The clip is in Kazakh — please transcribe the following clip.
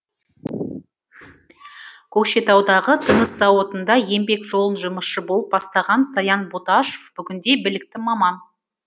көкшетаудағы тыныс зауытында еңбек жолын жұмысшы болып бастаған саян боташов бүгінде білікті маман